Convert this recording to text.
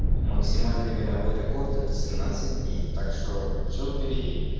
максимальный мировой рекорд это семнадцать дней так что всё впереди